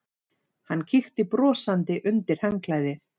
Hann kíkti brosandi undir handklæðið.